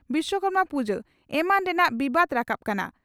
ᱵᱤᱥᱠᱚᱨᱢᱟ ᱯᱩᱡᱟ ᱮᱢᱟᱱ ᱨᱮᱱᱟᱜ ᱵᱤᱵᱟᱫᱽ ᱨᱟᱠᱟᱵ ᱟᱠᱟᱱᱟ ᱾